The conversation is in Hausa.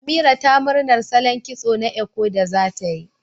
Amira ta murnar salon kitso na Eko da zatayi